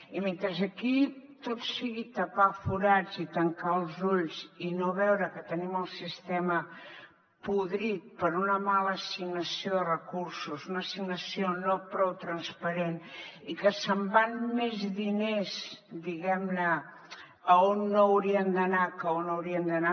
i mentre aquí tot sigui tapar forats i tancar els ulls i no veure que tenim el sistema podrit per una mala assignació de recursos una assignació no prou transparent i que se’n van més diners diguem ne a on no haurien d’anar que a on haurien d’anar